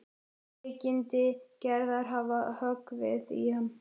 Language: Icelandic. Veikindi Gerðar hafa höggvið í hann.